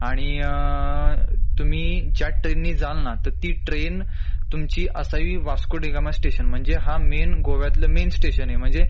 आणि अ तुम्ही ज्या ट्रेन नी जाल ना तर ती ट्रेन तुमची असही वास्को डी गामा स्टेशन म्हंजे हा मेन गोव्यातल मेन स्टेशन आहे म्हंजे